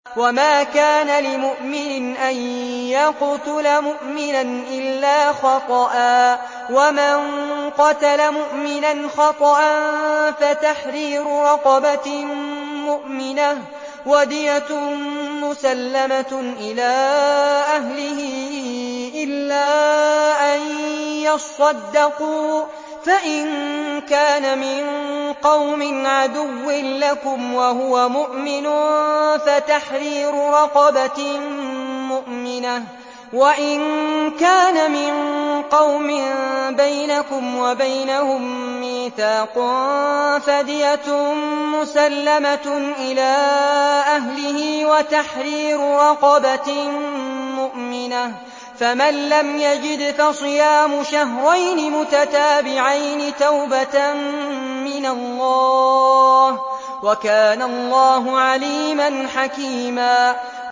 وَمَا كَانَ لِمُؤْمِنٍ أَن يَقْتُلَ مُؤْمِنًا إِلَّا خَطَأً ۚ وَمَن قَتَلَ مُؤْمِنًا خَطَأً فَتَحْرِيرُ رَقَبَةٍ مُّؤْمِنَةٍ وَدِيَةٌ مُّسَلَّمَةٌ إِلَىٰ أَهْلِهِ إِلَّا أَن يَصَّدَّقُوا ۚ فَإِن كَانَ مِن قَوْمٍ عَدُوٍّ لَّكُمْ وَهُوَ مُؤْمِنٌ فَتَحْرِيرُ رَقَبَةٍ مُّؤْمِنَةٍ ۖ وَإِن كَانَ مِن قَوْمٍ بَيْنَكُمْ وَبَيْنَهُم مِّيثَاقٌ فَدِيَةٌ مُّسَلَّمَةٌ إِلَىٰ أَهْلِهِ وَتَحْرِيرُ رَقَبَةٍ مُّؤْمِنَةٍ ۖ فَمَن لَّمْ يَجِدْ فَصِيَامُ شَهْرَيْنِ مُتَتَابِعَيْنِ تَوْبَةً مِّنَ اللَّهِ ۗ وَكَانَ اللَّهُ عَلِيمًا حَكِيمًا